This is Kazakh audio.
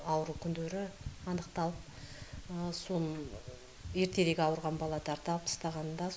ауыр күндері анықталып соны ертерек ауырғанда баладарды алып тастағанда